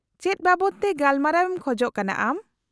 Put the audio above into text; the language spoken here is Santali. -ᱪᱮᱫ ᱵᱟᱵᱚᱫ ᱛᱮ ᱜᱟᱯᱟᱞᱢᱟᱨᱟᱣ ᱮᱢ ᱠᱷᱚᱪ ᱠᱟᱱᱟ ᱟᱢ ?